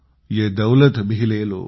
यह दौलत भी ले लो